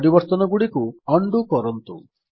ପରିବର୍ତ୍ତନଗୁଡିକ undo କରନ୍ତୁ